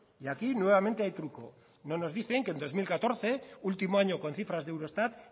y aquí nuevamente hay truco no nos dicen que en dos mil catorce último año con cifras de eurostat